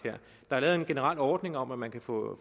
der er lavet en generel ordning om at man kan få